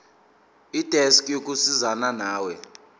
desk yokusizana nawe